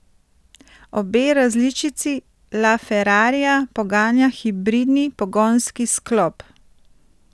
Obe različici la ferrarija poganja hibridni pogonski sklop.